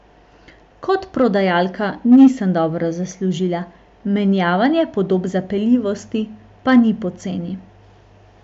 Kot prodajalka nisem dobro zaslužila, menjavanje podob zapeljivosti pa ni poceni.